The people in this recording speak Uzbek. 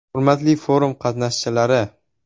Hurmatli forum qatnashchilari!